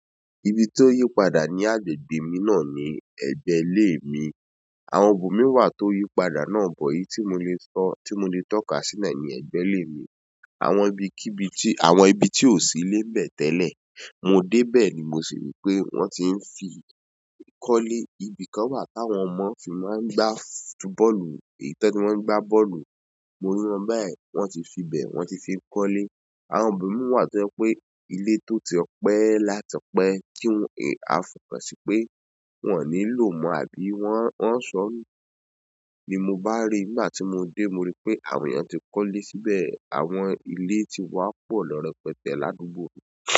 Ibi tó yí padà ní agbègbè mi náà ni ẹgbẹ́ ilé mi. Àwọn ibo mi wà tó yí padà náà bọ́ eyìí tí mo lè sọ, tí mo lè tọ́ka sína ní ẹ̀gbẹ́ ìle mi. Àwọn ibi kí ibi tí, àwọn ibi tí ò sí lé nbẹ̀ tẹ́lẹ̀, mo dé bẹ̀ ni mo sì rí pé wọ́n tí ń fi kọ́lé. Ibi kan wà táwọn ọmọ ti máa ń gbá fúbọ́ọ̀lù, è tí wọ́n fi máa ń gbá bọ́ọ̀lù. Mo rí wọn báyìí wọ́n ti fi bẹ̀, wọ́n ti fi kọ́lé. Àwọn ibomi wà tó jẹ pé ilé tó ti pẹ́ láti pẹ́ kí n ò, a fòkan sí pé wọ́n ò ní lò mọ́ àbí wọ́n, wọ́n ń sọ̀nu. Ni mo bá rí, nígbà tí mo dé mo rí pé àwọn èèyàn ti kọ́lé síbẹ̀, àwọn ilé ti wá pọ̀ lọ́ rẹpẹtẹ́ l'àdúgbò mi.